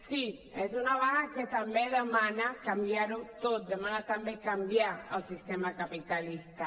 sí és una vaga que també demana canviar ho tot demana també canviar el sistema capitalista